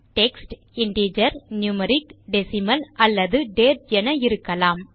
text integer numeric decimal அல்லது date என இருக்கலாம்